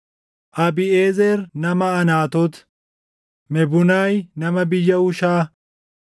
Abiiʼezer nama Anaatoot, Mebunaay nama biyya Hushaa,